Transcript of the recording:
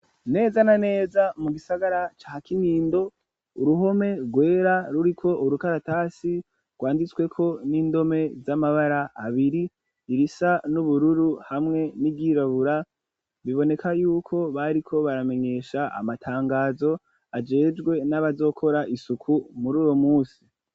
Neza na neza mu gisagara ca Kinindo, uruhome rwera ruriko urukaratasi rwanditsweko n'indome z'amabara abiri irisa n'ubururu hamwe n'iryirabura, biboneka yuko bariko baramenyesha amatangazo ajejwe n'abazokora isuku mur'uyo musi.